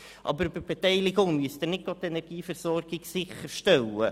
Aber über die Beteiligung müssen Sie nicht die Energieversorgung sicherstellen.